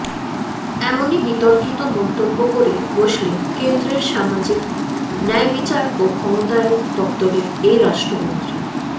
এমনই বিতর্কিত মন্তব্য করে বসলেন কেন্দ্রের সামাজিক ন্যায়বিচার ও ক্ষমতায়ন দপ্তরের এই রাষ্ট্রমন্ত্রী